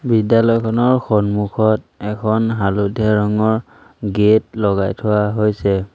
বিদ্যালয়খনৰ সন্মুখত এখন হালধীয়া ৰঙৰ গেট লগাই থোৱা হৈছে।